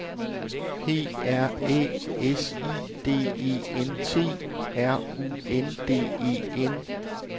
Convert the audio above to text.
P R Æ S I D E N T R U N D E N